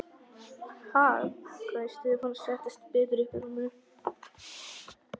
Ha?! hváði Stefán og settist betur upp í rúminu.